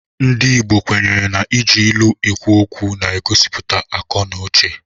Ndị Igbo kwenyere na iji ilu ekwu okwu na-egosipụta akọ na uche.